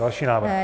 Další návrh.